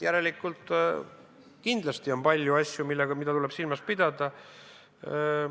Järelikult, kindlasti on palju asju, mida tuleb silmas pidada.